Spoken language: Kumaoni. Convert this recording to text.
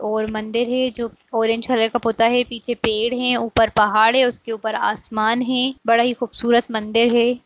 और मंदिर है जो ऑरेंज कलर का पुता हे। पीछे पेड़ हें ऊपर पहाड़ हे उसके ऊपर आसमान हें। बड़ा ही खूबसूरत मंदिर हे।